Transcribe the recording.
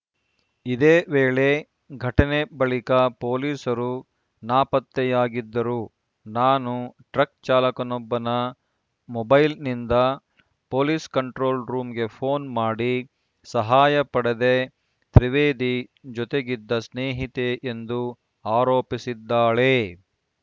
ಇದೇ ವೇಳೆ ಘಟನೆ ಬಳಿಕ ಪೊಲೀಸರು ನಾಪತ್ತೆಯಾಗಿದ್ದರು ನಾನು ಟ್ರಕ್‌ ಚಾಲಕನೊಬ್ಬನ ಮೊಬೈಲ್‌ನಿಂದ ಪೊಲೀಸ್‌ ಕಂಟ್ರೋಲ್‌ ರೂಮಿಗೆ ಪೋನ್‌ ಮಾಡಿ ಸಹಾಯ ಪಡೆದೆ ತ್ರಿವೇದಿ ಜೊತೆಗಿದ್ದ ಸ್ನೇಹಿತೆ ಎಂದು ಆರೋಪಿಸಿದ್ದಾಳೆ